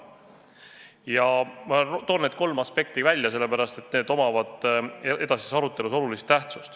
Ja ma toon need kolm aspekti välja, sellepärast et nendel on edasises arutelus oluline tähtsus.